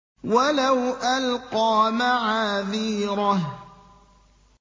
وَلَوْ أَلْقَىٰ مَعَاذِيرَهُ